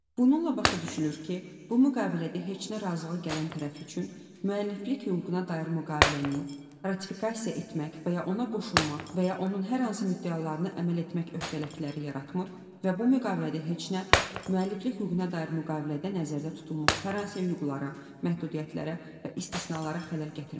Bununla başa düşülür ki, bu müqavilədə heç nə razılığa gələn tərəf üçün müəlliflik hüququna dair müqaviləni ratifikasiya etmək və ya ona qoşulmaq və ya onun hər hansı müddəalarını əməl etmək öhdəlikləri yaratmır və bu müqavilədə heç nə müəlliflik hüququna dair müqavilədə nəzərdə tutulmuş hər hansı hüquqlara, məhdudiyyətlərə və istisnalara xələl gətirmir.